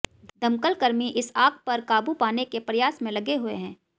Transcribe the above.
दमकल कर्मी इस आग पर काबू पाने के प्रयास में लगे हुए हैं